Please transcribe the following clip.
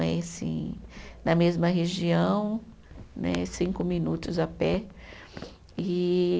É assim, na mesma região né, cinco minutos a pé. E